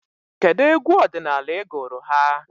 Kedụ egwu ọdịnala ị gụrụ ha?